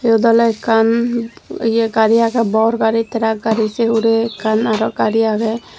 iyot oley ekkan ye gari agey bor gari terak gari sei hurey ekkan aro gari agey.